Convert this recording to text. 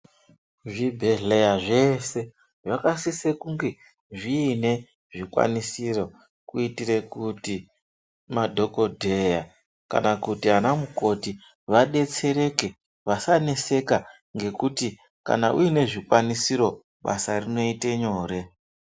Zvibhedhlera zvese zvakasise kunge zviine zvikwanisiro kuitire kuti madhokodheya naamamukoti vadetsereke vasaneseka ngekuti kana uine zvikwanisiro basa rinoite nyore.